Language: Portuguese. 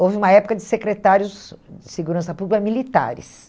houve uma época de secretários de segurança pública militares.